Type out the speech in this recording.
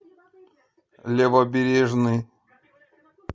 левобережный